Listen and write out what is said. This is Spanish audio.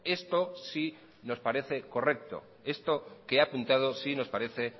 esto sí nos parece correcto esto que ha apuntado sí nos parece